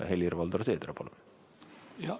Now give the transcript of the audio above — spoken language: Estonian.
Helir-Valdor Seeder, palun!